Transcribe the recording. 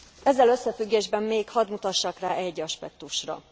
Ezzel összefüggésben még hadd mutassak rá egy aspektusra.